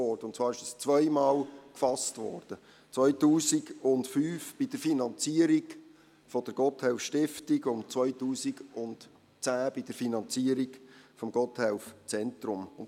Und zwar wurde er zweimal gefasst, 2005 bei der Finanzierung der Gotthelf-Stiftung und 2010 bei der Finanzierung des Gotthelf-Zentrums.